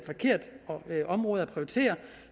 et forkert område at prioritere